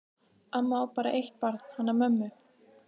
Amma á bara eitt barn, hana mömmu.